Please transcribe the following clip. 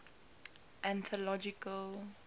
anthological